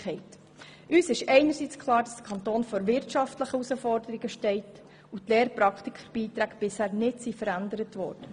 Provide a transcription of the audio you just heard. Uns ist einerseits klar, dass der Kanton vor wirtschaftlichen Herausforderungen steht und die Praktikerbeiträge bisher nicht verändert wurden.